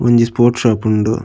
ಒಂಜಿ sports shop ಉಂಡು.